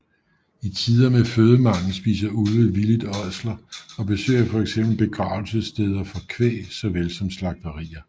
I tider med fødemangel spiser ulve villigt ådsler og besøger fx begravelsessteder for kvæg såvel som slagterier